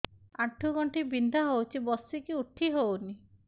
ଆଣ୍ଠୁ ଗଣ୍ଠି ବିନ୍ଧା ହଉଚି ବସିକି ଉଠି ହଉନି